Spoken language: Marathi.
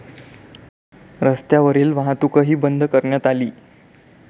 रस्त्यावरील वाहतूकही बंद करण्यात आली.